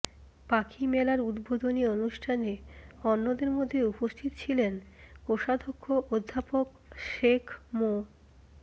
পাখি মেলার উদ্বোধনী অনুষ্ঠানে অন্যদের মধ্যে উপস্থিত ছিলেন কোষাধ্যক্ষ অধ্যাপক শেখ মো